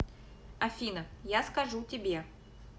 афина я скажу тебе